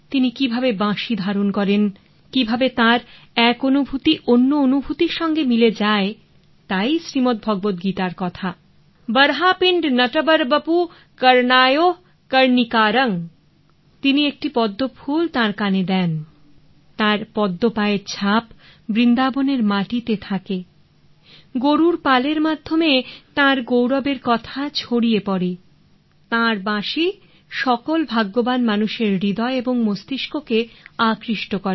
তিনি কিভাবে বাঁশি ধারণ করেন কিভাবে তার এক অনুভূতি অন্য অনুভূতির সঙ্গে মিলে যায় তাই শ্রীমদ্ভগবত গীতার কথা বর্হাপিন্ড নটবরবপু কর্নায়ও কর্ণিকারং তিনি একটি পদ্ম ফুল তাঁর কানে দেন তার পদ্ম পায়ের ছাপ বৃন্দাবনের মাটিতে থাকে গোরুর পালের মাধ্যমে তাঁর গৌরবের কথা ছড়িয়ে পরে তাঁর বাঁশি সকল ভাগ্যবান মানুষের হৃদয় এবং মস্তিষ্ককে আকৃষ্ট করে